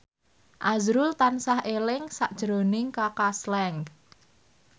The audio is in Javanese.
azrul tansah eling sakjroning Kaka Slank